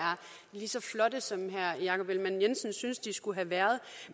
lige så flotte som herre jakob ellemann jensen synes de skulle have været